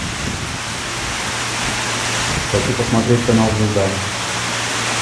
хочу посмотреть канал звезда